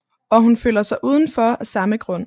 Og hun føler sig udenfor af samme grund